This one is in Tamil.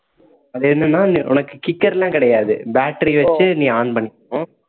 அது என்னன்னா உனக்கு kicker லாம் கிடையாது battery வச்சு நீ on பண்ணிக்கணும்